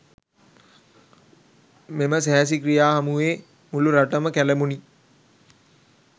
මෙම සැහැසි ක්‍රියා හමුවේ මුළු රටම කැළඹුණි.